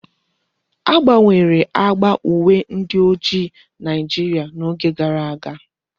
A gbanwere agba uwe ndi ojii Naijiria n'oge gara aga.